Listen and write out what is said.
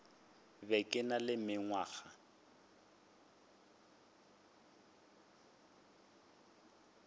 be ke na le mengwaga